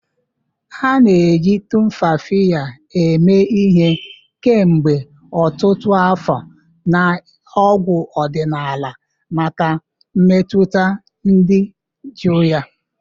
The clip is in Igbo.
A na-eji Tumfafiya emee ihe kemgbe ọtụtụ afọ na ọgwụ ọdịnala maka mmetụta dị jụụ ya.